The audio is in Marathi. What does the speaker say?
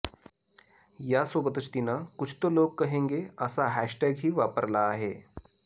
यासोबतच तिनं कुछ तो लोग कहेंगे असा हॅशटॅगही वापरला आहे